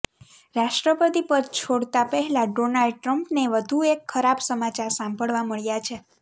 રાષ્ટ્રપતિ પદ છોડતા પહેલા ડોનાલ્ડ ટ્ર્મ્પને વધુ એક ખરાબ સમાચાર સાંભળવા મળ્યા છે